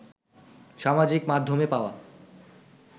সামাজিক মাধ্যমে পাওয়া